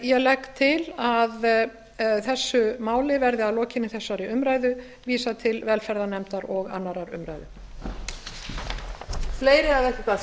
ég legg til að þessu máli verði að lokinni þessari umræðu vísað til velferðarnefndar og annarrar umræðu